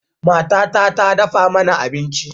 Matata ta dafa mana abinci.